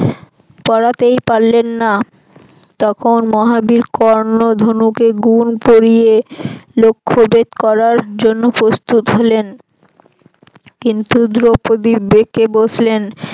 পড়াতেই পারলেন না তখন মহাবীর কর্ন ধনুকে গুন পরিয়ে লক্ষ্যভেদ করার জন্য প্রস্তুত হলেন কিন্তু দ্রৌপদি বেঁকে বসলেন